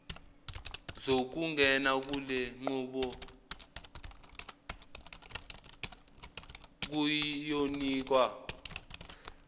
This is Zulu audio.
zokungena kulenqubo ziyonikwa